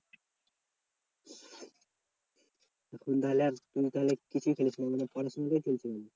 তুই ধরলে আর